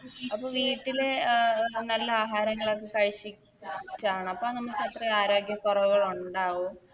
അപ്പൊ വീട്ടിലെ നല്ല ആഹാരങ്ങളൊക്കെ കഴിച്ചി ക്കാണ് അപ്പാ നാമക്കത്രയും ആരോഗ്യക്കോറവുകൾ ളൊണ്ടാവോ